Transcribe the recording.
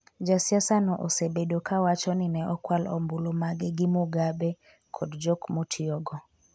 Ja siasa no osebedo ka wacho ni ne okwal ombulu mage gi Mugabe kod jok motiyogo